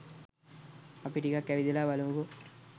අපි ටිකක් ඇවිදලා බලමුකෝ